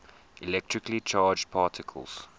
electrically charged particles